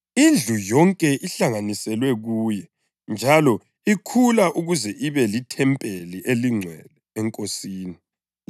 Indlu yonke ihlanganiselwe kuye njalo ikhula ukuze ibe lithempeli elingcwele eNkosini.